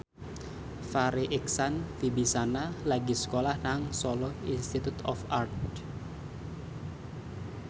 Farri Icksan Wibisana lagi sekolah nang Solo Institute of Art